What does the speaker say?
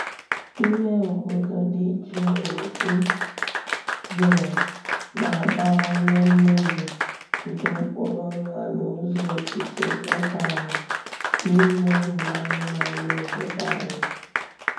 Ime obodo dị jụụ dị jụụ na-abawanye mmezu nke mkpụrụ nwa n’ụzọ okike mmekọahụ n’ime ụmụ anụmanụ obodo anyị.